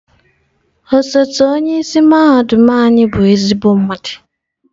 Osote onye isi mahadum anyị bụ ezigbo mmadụ.